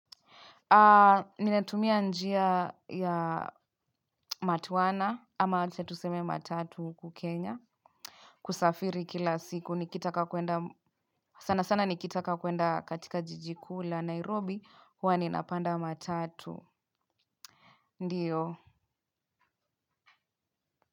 Ninatumia njia ya matwana ama acha tuseme matatu huku kenya. Kusafiri kila siku nikitaka kwenda sana sana nikitaka kwenda katika jiji kuu la nairobi huwa ninapanda matatu ndiyo.